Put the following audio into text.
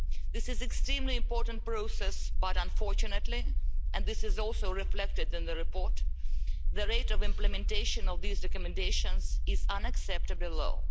This is an extremely important process but unfortunately and this is reflected in the report the rate of implementation of these recommendations is unacceptably low.